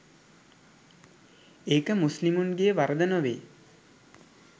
ඒක මුස්ලිමුන්ගේ වරද නොවේ.